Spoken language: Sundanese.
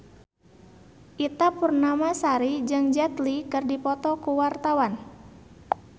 Ita Purnamasari jeung Jet Li keur dipoto ku wartawan